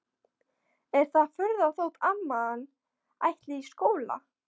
Er það furða þótt amman ætli í skóla?